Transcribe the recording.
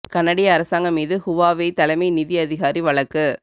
கனடிய அரசாங்கம் மீது ஹுவாவெய் தலைமை நிதி அதிகாரி வழக்கு